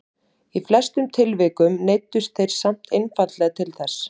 í flestum tilvikum neyddust þeir samt einfaldlega til þess